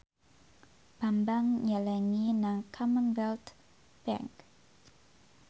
Bambang nyelengi nang Commonwealth Bank